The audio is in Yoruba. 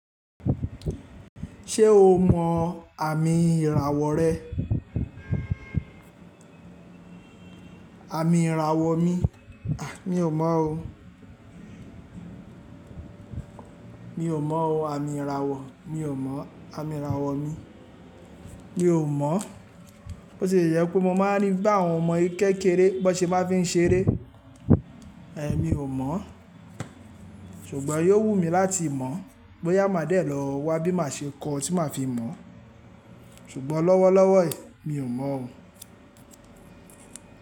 Ṣé o mọ àmì ìràwọ̀ rẹ? Àmì ìràwọ̀ mi, à, mi ò mọ̀ ọ́. Mi ò mọ̀ ọ́ àmì ìràwọ̀, mi ò mọ̀ àmì ìràwọ̀ mi. Mi ò mọ̀. Bi o jẹ pe mo máa ní bá àwọn ọmọ kékeré bó ṣe máa fi ń ṣeré. Èmi ò mọ̀, ṣùgbọ́n yóò wù mí láti mọ̀. Boyà má dè lọ wá bí má ṣe kó tí máa fi mọ̀. Ṣùgbọ́n lọ́wọ́lọ́wọ́ mi ò mọ̀ ọ́n.